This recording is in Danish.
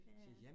Ja ja